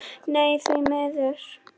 Nei því miður.